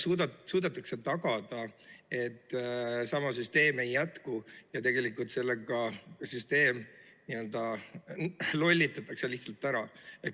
Kuidas suudetakse tagada, et sama süsteem ei jätku ja tegelikult sellega süsteem n‑ö lollitatakse lihtsalt ära?